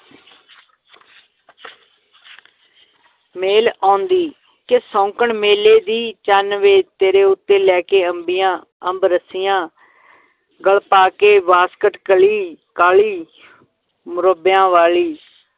ਮੇਲ ਆਉਂਦੀ ਕਿ ਸ਼ੌਂਕਣ ਮੇਲੇ ਦੀ, ਚੰਨ ਵੇ ਤੇਰੇ ਉੱਤੇ ਲੈ ਕੇ ਅੰਬੀਆਂ ਅੰਬ ਰਸੀਆਂ ਗਲ ਪਾ ਕੇ ਵਾਸਕਟ ਕਲੀ ਕਾਲੀ ਮੁਰੱਬਿਆਂ ਵਾਲੀ,